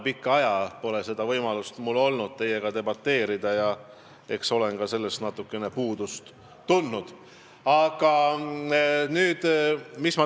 Pikka aega pole mul olnud võimalust teiega debateerida ja eks olen sellest ka natukene puudust tundnud.